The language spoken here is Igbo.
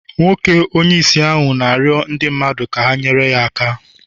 Nwoke onye ìsì ahụ na-arịọ ndị mmadụ ka ha nyere ya aka